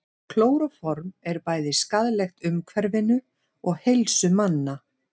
Klóróform er bæði skaðlegt umhverfinu og heilsu manna.